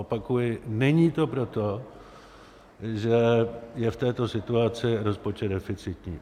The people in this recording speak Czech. Opakuji, není to proto, že je v této situaci rozpočet deficitní.